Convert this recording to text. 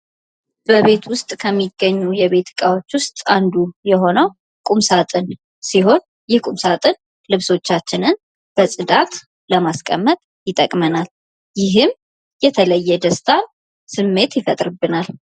በቤት ውስጥ ከሚገኙ የቤት እቃዎችን ውስጥ አንዱ የሆነው ቁምሳጥን ሲሆን ይህ ቁምሳጥን ልብሶቻችንን በጽዳት ለማስቀመጥ ይጠቅመናል። ይህም የተለየ ደስታን ስሜት ይፈጥርብናል።